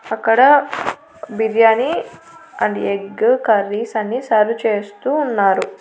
అక్కడ biryani and egg curries అన్ని serve చేస్తూ ఉన్నారు.